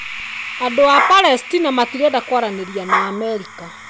Andũ a Palesitina matirenda kwaranĩria na Amerika.